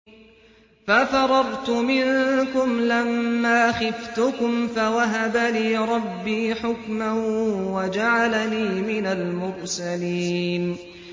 فَفَرَرْتُ مِنكُمْ لَمَّا خِفْتُكُمْ فَوَهَبَ لِي رَبِّي حُكْمًا وَجَعَلَنِي مِنَ الْمُرْسَلِينَ